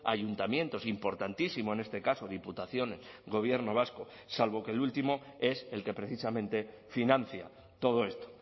ayuntamientos importantísimo en este caso diputación gobierno vasco salvo que el último es el que precisamente financia todo esto